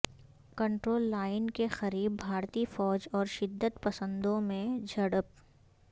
control line کے قریب بھارتی فوج اور شدت پسندوں میں جھڑپ